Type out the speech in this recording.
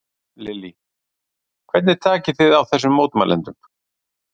Lillý: Hvernig takið þið á þessum mótmælendum?